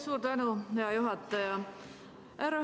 Suur tänu, hea juhataja!